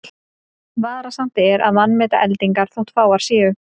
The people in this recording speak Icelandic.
Varasamt er að vanmeta eldingar þótt fáar séu.